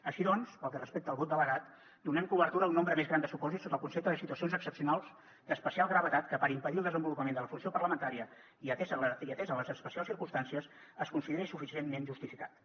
així doncs pel que respecta al vot delegat donem cobertura a un nombre més gran de supòsits sota el concepte de situacions excepcionals d’especial gravetat que puguin impedir el desenvolupament de la funció parlamentària i que ateses les especials circumstàncies es considerin suficientment justificats